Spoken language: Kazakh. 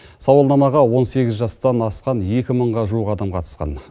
сауалнамаға он сегіз жастан асқан екі мыңға жуық адам қатысқан